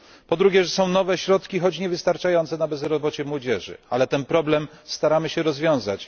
Po drugie, są nowe środki choć niewystarczające na bezrobocie młodzieży, ale ten problem staramy się rozwiązać.